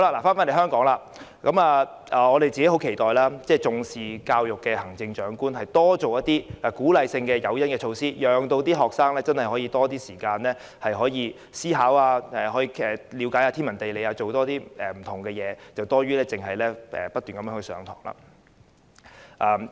說回香港，我們十分期待重視教育的行政長官多推出一些鼓勵性的誘因和措施，讓學生可以有較多時間思考、無論是了解天文地理，或是多做不同事情，這總比不斷上課為好。